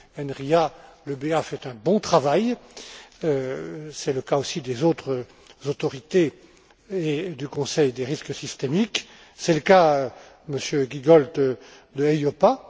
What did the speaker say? Enria, l'EBA fait un bon travail c'est le cas aussi des autres autorités et du comité du risque systémique, c'est le cas, Monsieur Giegold, de l'EIOPA.